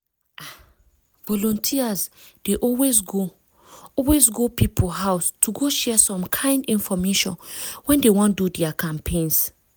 ah! volunteers dey always go always go people house to go share some kind infomation when dey wan do their campaigns.